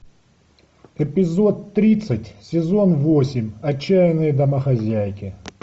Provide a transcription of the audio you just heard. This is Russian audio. эпизод тридцать сезон восемь отчаянные домохозяйки